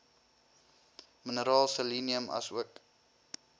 mineraal selenium asook